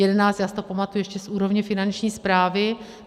Já si to pamatuji ještě z úrovně Finanční správy.